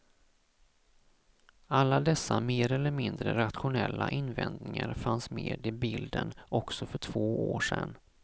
Alla dessa mer eller mindre rationella invändningar fanns med i bilden också för två år sedan.